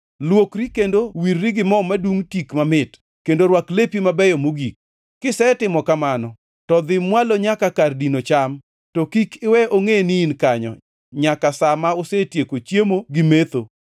Luokri kendo wirri gi mo madungʼ tik mamit, kendo rwak lepi mabeyo mogik. Kisetimo kamano, to dhi mwalo nyaka kar dino cham, to kik iwe ongʼe ni in kanyo nyaka sa ma osetieko chiemo gi metho.